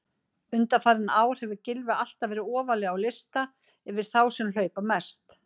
Undanfarin ár hefur Gylfi alltaf verið ofarlega á lista yfir þá sem hlaupa mest.